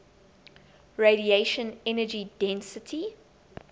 radiation energy density